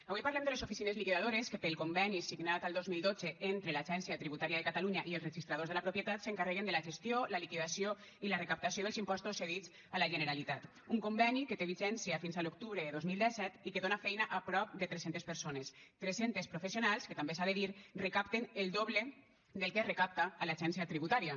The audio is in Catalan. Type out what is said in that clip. avui parlem de les oficines liquidadores que pel conveni signat al dos mil dotze entre l’agència tributària de catalunya i els registradors de la propietat s’encarreguen de la gestió la liquidació i la recaptació dels impostos cedits a la generalitat un conveni que té vigència fins a l’octubre de dos mil disset i que dóna feina a prop de tres centes persones tres centes professionals que també s’ha de dir recapten el doble del que es recapta a l’agència tributària